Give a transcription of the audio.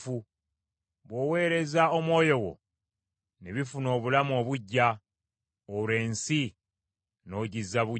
Bw’oweereza Omwoyo wo, ne bifuna obulamu obuggya; olwo ensi n’ogizza buggya.